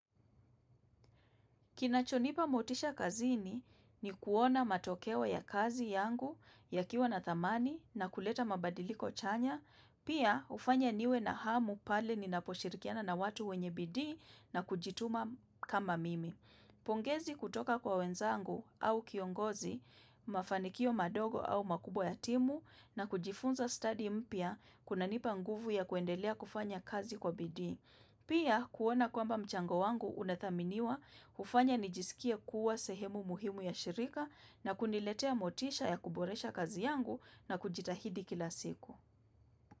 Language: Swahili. Kinachonipa motisha kazini ni kuona matokeo ya kazi yangu ya kiwa na thamani na kuleta mabadiliko chanya, pia ufanya niwe na hamu pale ni naposhirikiana na watu wenye bidii na kujituma kama mimi. Pongezi kutoka kwa wenzangu au kiongozi, mafanikio madogo au makubwa ya timu na kujifunza study mpya kuna nipa nguvu ya kuendelea kufanya kazi kwa bidii. Pia kuona kwamba mchango wangu unathaminiwa ufanya nijisikie kuwa sehemu muhimu ya shirika na kuniletea motisha ya kuboresha kazi yangu na kujitahidi kila siku.